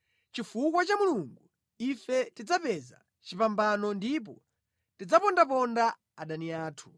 Chifukwa cha Mulungu, ife tidzapeza chipambano ndipo tidzapondaponda adani athu.